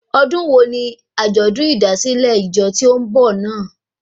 Ọdún wo ni àjọ̀dún ìdásílẹ̀ ìjọ tí ó n bọ̀ náà?